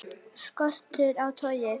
Skortur á togi